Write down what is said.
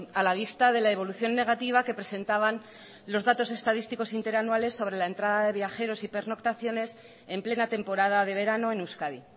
a la vista de la evolución negativa que presentaban los datos estadísticos interanuales sobre la entrada de viajeros y pernoctaciones en plena temporada de verano en euskadi